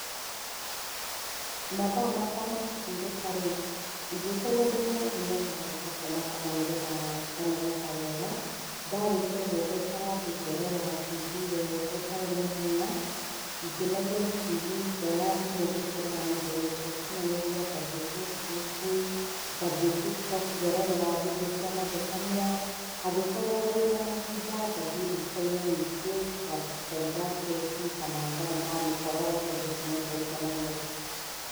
Mathaa makwa ma kũhurũka rĩ, ingĩkorwo ndĩ mũnogu nyambaga ngakomakoma nĩgetha nganogoka wega ndarĩkia ũguo ngaikara thĩ ngerorera tibii wega itarĩ na ihenya ingĩnogio nĩ tibii ngoya thimũ ngaingĩra nendainĩ cia ũkinyanĩria ngathiĩ Facebook ngathiĩ Tiktok ngerorera vindeo cia mathekania angĩkorwo harĩ onamahinda ngathiĩ rikoinĩ ningĩ ngaruga keki kana ngaruga mũkorogo tondũ ũcio nĩ ũndũ ũngenagia.